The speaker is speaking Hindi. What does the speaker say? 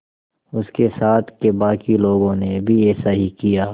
उसके साथ के बाकी लोगों ने भी ऐसा ही किया